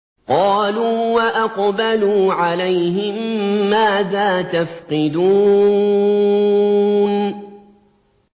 قَالُوا وَأَقْبَلُوا عَلَيْهِم مَّاذَا تَفْقِدُونَ